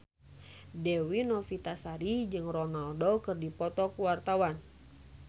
Dewi Novitasari jeung Ronaldo keur dipoto ku wartawan